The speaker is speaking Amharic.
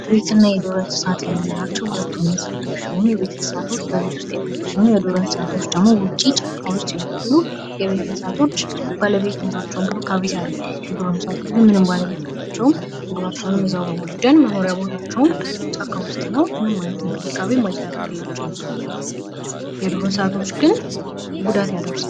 የቤትና የዱር እንስሳት የምንላቸው ሁለቱም እንስሳት ሲሆኑ የቤት እንስሳቶች በቤት ውስት የሚኖሩ ሲሆኑ የዱር እንስሳቶች ደሞ ውጪ ጫካ ውስጥ ይኖራሉ። የቤት እንስሳቶች ባለቤት ያላቸውና መኖርያቸውን ከቤት ያረጉ ሲሆኑ የዱር እንስሳቶች ግን ባለቤት የላቸውም ምግባቸውንም እዛው በማደን መኖርያ ቦታቸውም ጫካ ውስጥ ነው ።ምንም አይነት እንክብካቤም አይደረግላቸውም። የዱር እንስሳቶች ግን ጉዳት ያደርሳሉ።